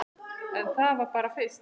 En það var bara fyrst.